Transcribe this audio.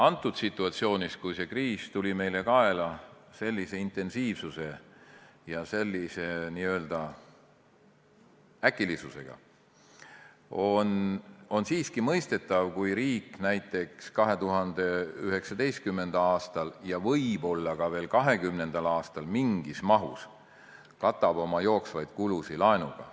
Antud situatsioonis, kui see kriis tuli meile kaela sellise intensiivsuse ja n-ö äkilisusega, on siiski mõistetav, kui riik näiteks 2019. aastal ja võib-olla ka veel 2020. aastal mingis mahus katab oma jooksvaid kulusid laenuga.